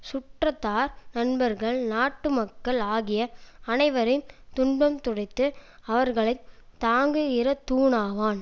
சுற்றத்தார் நண்பர்கள் நாட்டு மக்கள் ஆகிய அனைவரின் துன்பம் துடைத்து அவர்களை தாங்குகிறத் தூணாவான்